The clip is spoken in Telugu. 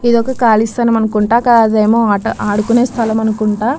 ఇది ఒక కాలి స్థలం అనుకుంటా అది ఏమో ఆట ఆడుకునే స్థలం అనుకుంటా.